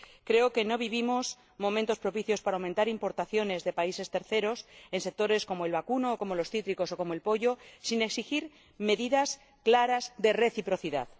Creo que no vivimos momentos propicios para aumentar importaciones de países terceros en sectores como el vacuno, los cítricos o el pollo sin exigir medidas claras de reciprocidad.